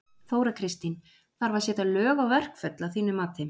Þóra Kristín: Þarf að setja lög á verkföll að þínu mati?